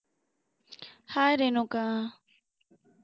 hi Renuka